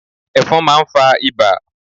Ẹ̀fọn máa ń fa ibà